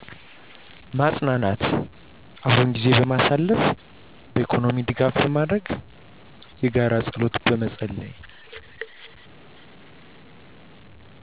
ማፅናናት፣ አብሮ ጊዜን በማሳለፍ፣ በኢኮኖሚ ድጋፍ በማድረግ፣ የጋራ ጸሎት በመጸለይ